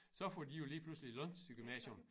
Så får de jo lige pludselig langt til gymnasium